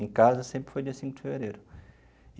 Em casa, sempre foi dia cinco de fevereiro.